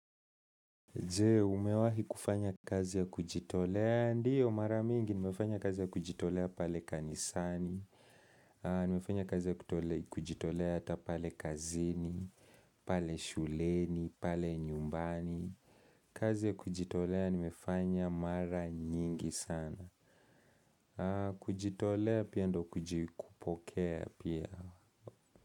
Je umewahi kufanya kazi ya kujitolea? Ndio, mara mingi nimefanya kazi ya kujitolea pale kanisani, nimefanya kazi ya kujitolea ata pale kazini, pale shuleni, pale nyumbani. Kazi ya kujitolea nimefanya mara nyingi sana. Kujitolea pia ndo kujikupokea pia.